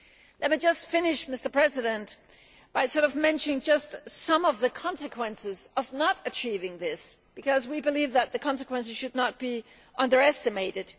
Let me just finish, Mr President, by mentioning some of the consequences of not achieving this, because we believe that the consequences should not be underestimated.